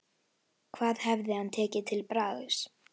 Hvað hefði hann tekið til bragðs?